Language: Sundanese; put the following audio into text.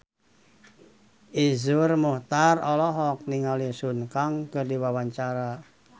Iszur Muchtar olohok ningali Sun Kang keur diwawancara